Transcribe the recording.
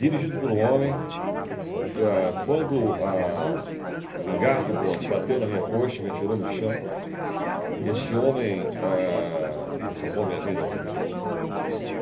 Dirigido por um homem que, ah... quando ah... o engato do bonde bateu na minha coxa e me atirou no chão, esse homem, ah... salvou a minha vida, obviamente.